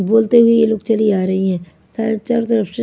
बोलते हुए ये लोग चली आ रही हैं चारो तरफ से --